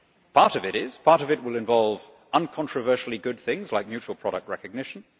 Part of it will involve uncontroversially good things like mutual product recognition.